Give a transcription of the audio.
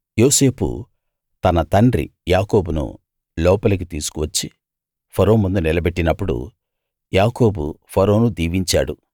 యోసేపు తన తండ్రి యాకోబును లోపలికి తీసుకు వచ్చి ఫరో ముందు నిలబెట్టినప్పుడు యాకోబు ఫరోను దీవించాడు